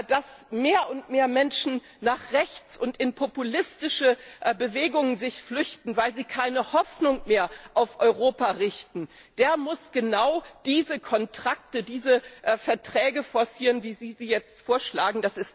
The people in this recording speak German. dass sich mehr und mehr Menschen nach rechts und in populistische Bewegungen flüchten, weil sie keine Hoffnung mehr auf Europa richten, der muss genau diese Kontrakte, diese Verträge forcieren, wie Sie sie jetzt vorschlagen.